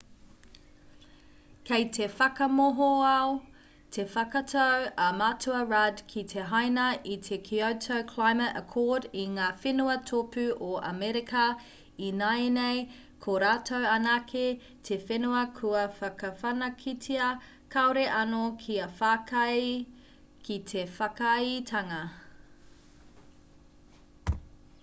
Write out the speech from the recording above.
kei te whakamohoao te whakatau a matua rudd ki te haina i te kyoto climate accord i ngā whenua tōpū o amerika ināianei ko rātou anake te whenua kua whakawhanaketia kāore anō kia whakaae ki te whakaaetanga